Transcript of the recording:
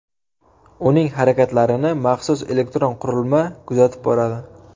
Uning harakatlarini maxsus elektron qurilma kuzatib boradi.